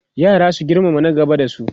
yara su girmama na gaba da su